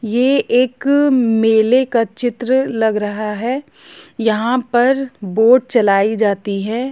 यह एक मेले का चित्र लग रहा है यहां पर बोट चलाई जाती हैं।